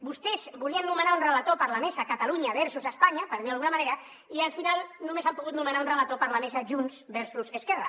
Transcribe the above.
vostès volien nomenar un relator per a la mesa catalunya versus espanya per dir ho d’alguna manera i al final només han pogut nomenar un relator per a la mesa junts versus esquerra